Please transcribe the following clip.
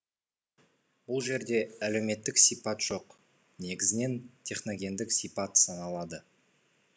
бұл жерде әлеуметтік сипат жоқ негізінен техногендік сипат саналады